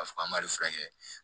K'a fɔ an b'a de furakɛ